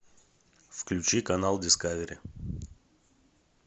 включи канал дискавери